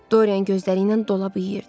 Doryan gözləri ilə dolab yeyirdi.